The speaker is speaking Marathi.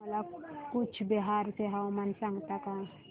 मला कूचबिहार चे हवामान सांगता का